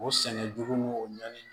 O sɛnɛ jugu ni o ɲani